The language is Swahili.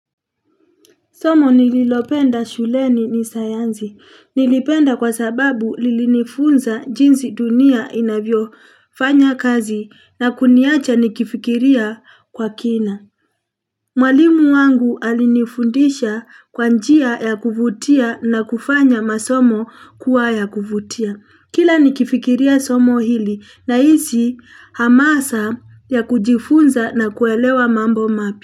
Somo nililopenda shuleni ni sayansi. Nilipenda kwa sababu lilinifunza jinsi dunia inavyo fanya kazi na kuniacha nikifikiria kwa kina. Mwalimu wangu alinifundisha kwanjia ya kuvutia na kufanya masomo kuwa ya kuvutia. Kila nikifikiria somo hili na hizi hamasa ya kujifunza na kuelewa mambo mapi.